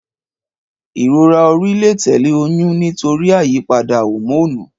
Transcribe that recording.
Ìrora orí lè tẹ̀lé oyún nítorí àyípadà homonu.